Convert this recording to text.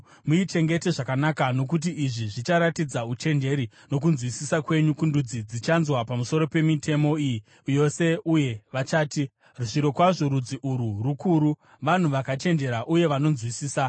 Muichengete zvakanaka, nokuti izvi zvicharatidza uchenjeri nokunzwisisa kwenyu kundudzi dzichanzwa pamusoro pemitemo iyi yose uye vachati, “Zvirokwazvo rudzi urwu rukuru, vanhu vakachenjera uye vanonzwisisa.”